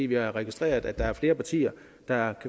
vi har registreret at der er flere partier der